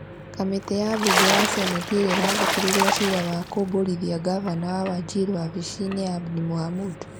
Kamĩtĩ ya mbunge ya seneti ĩrĩa ĩrathikĩrĩria ciira wa kũmbũrithia mgavana wa Wajir wabici-nĩ, Abdi Mohamud,